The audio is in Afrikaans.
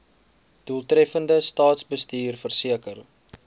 doeltreffende staatsbestuur verseker